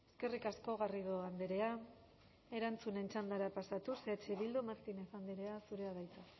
eskerrik asko garrido andrea erantzunen txandara pasatuz eh bildu martinez andrea zurea da hitza